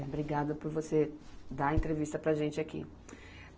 Obrigada por você dar a entrevista para a gente aqui.